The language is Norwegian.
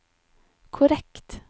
korrekt